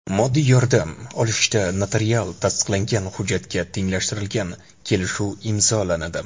Moddiy yordam olishda notarial tasdiqlangan hujjatga tenglashtirilgan kelishuv imzolanadi.